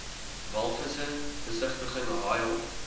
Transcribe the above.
walvisse besigtiging haaihok